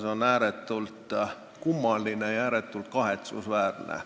See on ääretult kummaline ja ääretult kahetsusväärne.